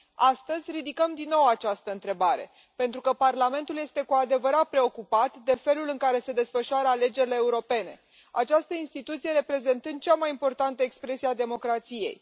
Astăzi, ridicăm din nou această întrebare, pentru că Parlamentul este cu adevărat preocupat de felul în care se desfășoară alegerile europene, această instituție reprezentând cea mai importantă expresie a democrației.